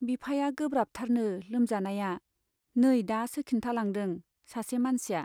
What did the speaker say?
बिफाया गोब्राबथारनो लोमजानाया, नै दासो खिन्थालांदों सासे मानसिया।